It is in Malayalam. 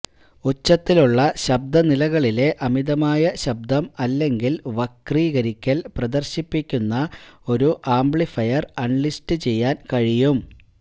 ഉച്ചത്തിലുള്ള ശബ്ദ നിലകളിലെ അമിതമായ ശബ്ദം അല്ലെങ്കിൽ വക്രീകരിക്കൽ പ്രദർശിപ്പിക്കുന്ന ഒരു ആംപ്ലിഫയർ അൺലിസ്റ്റുചെയ്യാൻ കഴിയും